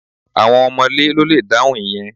Àwọn ọ̀mọ̀lé ló le dáhùn ìyẹn